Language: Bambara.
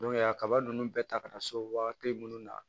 a kaba ninnu bɛɛ ta ka na so wagati minnu na